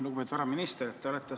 Lugupeetud härra minister!